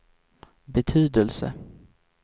betydelse